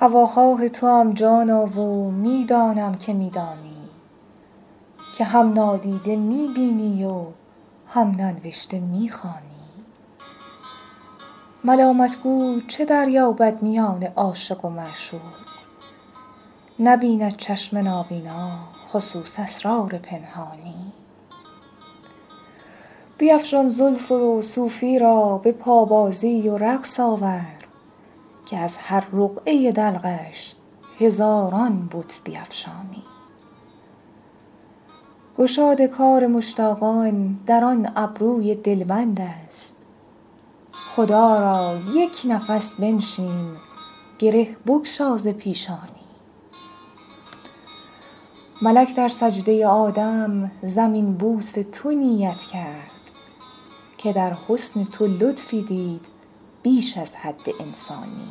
هواخواه توام جانا و می دانم که می دانی که هم نادیده می بینی و هم ننوشته می خوانی ملامت گو چه دریابد میان عاشق و معشوق نبیند چشم نابینا خصوص اسرار پنهانی بیفشان زلف و صوفی را به پابازی و رقص آور که از هر رقعه دلقش هزاران بت بیفشانی گشاد کار مشتاقان در آن ابروی دلبند است خدا را یک نفس بنشین گره بگشا ز پیشانی ملک در سجده آدم زمین بوس تو نیت کرد که در حسن تو لطفی دید بیش از حد انسانی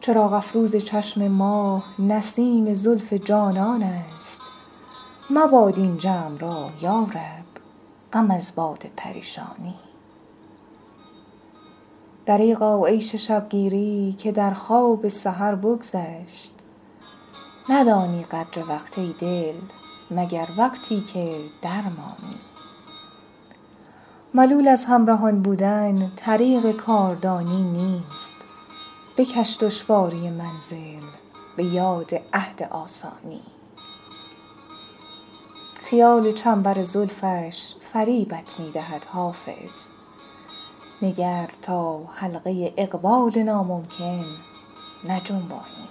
چراغ افروز چشم ما نسیم زلف جانان است مباد این جمع را یا رب غم از باد پریشانی دریغا عیش شب گیری که در خواب سحر بگذشت ندانی قدر وقت ای دل مگر وقتی که درمانی ملول از همرهان بودن طریق کاردانی نیست بکش دشواری منزل به یاد عهد آسانی خیال چنبر زلفش فریبت می دهد حافظ نگر تا حلقه اقبال ناممکن نجنبانی